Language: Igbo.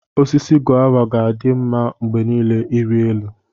Osisi Gova ga-adị mma mgbe niile ịrị elu.